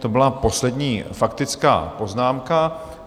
To byla poslední faktická poznámka.